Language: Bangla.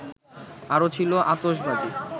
আরো ছিল আতশবাজি